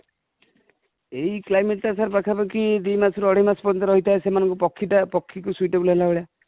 ଏଇ climate ଟା sir ପାଖ ପାଖି ଦୁଇ ମାସ ରୁ ଅଢେଇ ମାସ ପର୍ଯ୍ୟନ୍ତ ରହି ଥାଏ ସେମାନଙ୍କୁ ପକ୍ଷୀ ଟା ପକ୍ଷୀ କୁ suitable ହେଲା ଭଳିଆ |